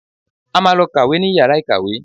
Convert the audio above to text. A máa lọ kàwé níyàrà ìkàwé